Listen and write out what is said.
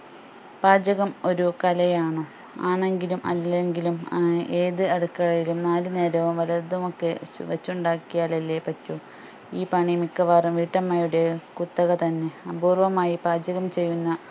പാചകം ഒരു കലയാണോ ആണെങ്കിലും അല്ലങ്കിലും ഏർ ഏത് അടുക്കളയിലും നാലു നേരവും വല്ലതുമൊക്കെ വെച്ചുണ്ടാക്കിയാലല്ലേ പറ്റൂ ഈ പണി മിക്കവാറും വീട്ടമ്മയുടെ കുത്തക തന്നെ അപൂർവമായി പാചകം ചെയ്യുന്ന